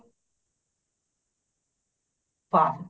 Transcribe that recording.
ਪਾਓ